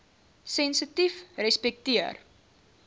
sensitiefrespekteer